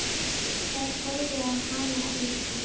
Þær horfðu á hann lengi.